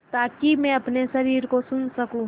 ताकि मैं अपने शरीर को सुन सकूँ